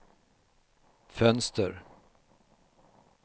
fönster